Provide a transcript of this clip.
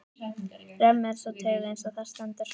Römm er sú taug, eins og þar stendur